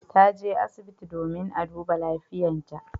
Ta je asibiti domin a duba lafiyartan ta.